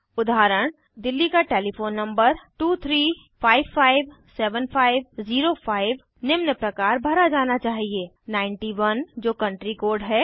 उदाहरण दिल्ली का telephone number 23557505 निम्न प्रकार भरा जाना चाहिए 9 1 जो कंट्री कोड है